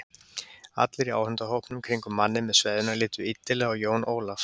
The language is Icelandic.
Allir í áhorfendahópnum í kringum manninn með sveðjuna litu illilega á Jón Ólaf.